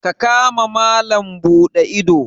kama malam Bude ido.